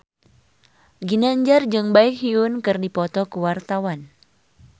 Ginanjar jeung Baekhyun keur dipoto ku wartawan